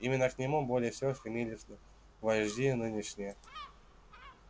именно к нему более всего стремились вожди нынешние